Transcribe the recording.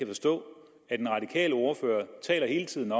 forstå at den radikale ordfører hele tiden